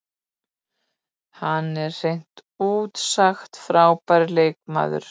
Hann er hreint út sagt frábær leikmaður.